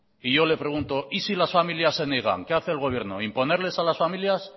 y yo le pregunto y si las familias se niegan qué hace el gobierno imponerles a las familias